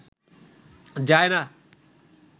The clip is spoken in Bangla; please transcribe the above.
যায় না